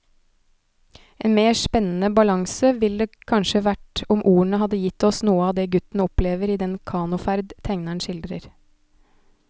En mer spennende balanse ville det kanskje vært om ordene hadde gitt oss noe av det gutten opplever i den kanoferd tegneren skildrer.